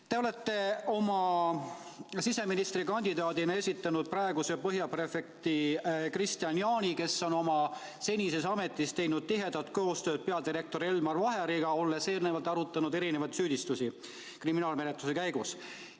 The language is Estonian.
Te olete oma siseministrikandidaadina esitanud praeguse Põhja prefektuuri prefekti Kristian Jaani, kes on oma senises ametis teinud tihedat koostööd peadirektor Elmar Vaheriga, olles arutanud erinevaid süüdistusi kriminaalmenetluste käigus.